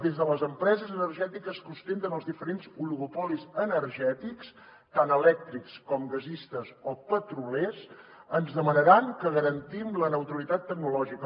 des de les empreses energètiques que ostenten els diferents oligopolis energètics tant elèctrics com gasistes o petroliers ens demanaran que garantim la neutralitat tecnològica